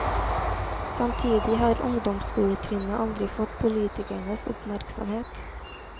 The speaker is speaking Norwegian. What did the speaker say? Samtidig har ungdomsskoletrinnet aldri fått politikernes oppmerksomhet.